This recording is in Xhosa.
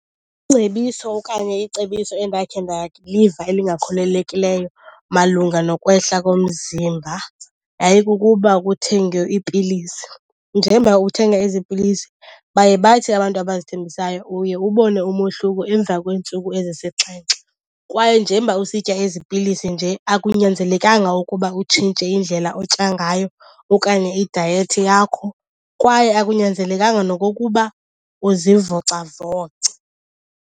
Ingcebiso okanye icebiso endakhe ndaliva elingakholelekileyo malunga nokwehla komzimba yayikukuba kuthengwe iipilisi. Njengoba uthenga ezi pilisi baye bathi abantu abazithengisayo uye ubone umohluko emva kweentsuku ezisixhenxe. Kwaye njengoba usitya ezi pilisi nje akunyanzelekanga ukuba utshintshe indlela otya ngayo okanye idayethi yakho kwaye akunyanzelekanga nokokuba uzivocavoce.